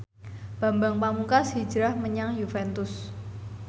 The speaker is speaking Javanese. Bambang Pamungkas hijrah menyang Juventus